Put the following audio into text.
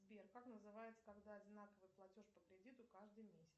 сбер как называется когда одинаковый платеж по кредиту каждый месяц